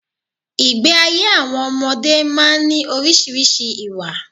Ìgbé ayé àwọn ọmọdé má ń ní orísìírísìí ìwà